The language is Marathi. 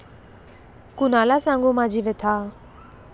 कुणाला सांगू माझी व्यथा